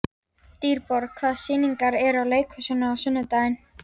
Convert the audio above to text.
Dýrborg, hvaða sýningar eru í leikhúsinu á sunnudaginn?